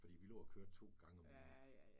Fordi vi lå og kørte 2 gange om ugen